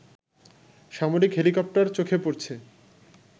সামরিক হেলিকপ্টার চোখে পড়ছে